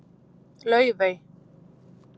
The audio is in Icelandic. Laufey